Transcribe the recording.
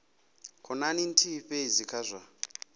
khonani nthihi fhedzi kha zwa